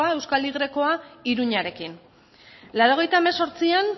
euskal y iruñarekin laurogeita hemezortzian